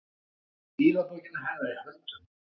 Með stílabókina hennar í höndunum!